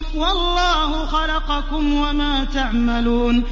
وَاللَّهُ خَلَقَكُمْ وَمَا تَعْمَلُونَ